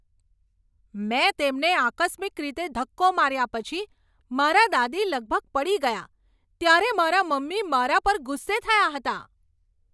મેં તેમને આકસ્મિક રીતે ધક્કો માર્યા પછી મારાં દાદી લગભગ પડી ગયાં ત્યારે મારાં મમ્મી મારા પર ગુસ્સે થયાં હતાં.